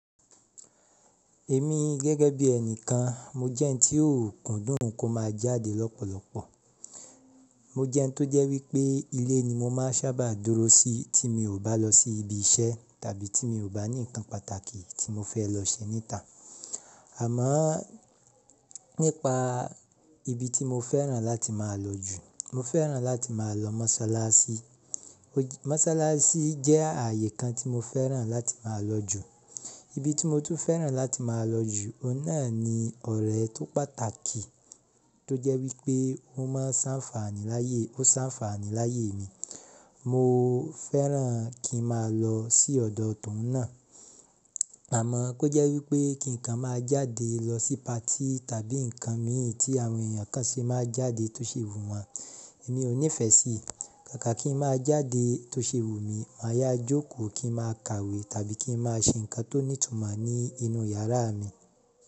Èmi gẹ́gẹ́ bí ẹni kan, mo jẹ́ ẹni tí ó kúndùn kó máa jáde lọ́pọ̀lọpọ̀. Mo jẹ́ ẹni tó jẹ́ wípé ilé ni mo máa sábà dúró sí tí mi ò bá lọ sí ibi iṣẹ́ tàbí tí mi ò bá ní nǹkan pàtàkì tí mo fẹ́ lọ ṣe ní ìta. Àmọ́ nípa ibi tí mo fẹ́ràn láti máa lọ jù, mo fẹ́ràn láti máa lọ mọ́sálásí. Mọ́sálásí jẹ́ ààyè kan tí mo fẹ́ràn láti máa lọ jù. Ibi tí mo tún fẹ́ràn láti máa lọ jù, óun náà ni ọ̀rẹ́ tó pàtàkì tó jẹ́ wípé ó máa ń ṣànfààní láyé, ó ṣànfààní láyé mi. Mo fẹ́ràn kí n máa lọ sí ọ̀dọ̀ tòun náà. Àmọ́ kó jẹ́ wípé kí nǹkan máa jáde lọ sí patí tàbí nǹkan mí ì tí àwọn èèyàn kan ṣe máa jáde tó ṣe wù wọn, èmi ò nífẹ̀ẹ́ sí i. Kàkà kí n máa jáde tó ṣe wù mí, máa yá jókòó kí n máa kàwé tàbí kí n máa ṣe nǹkan tó ní ìtumọ̀ ní inú yàrá mi.